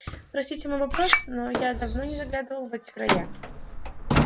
простите мой вопрос но я давно не заглядывал в эти края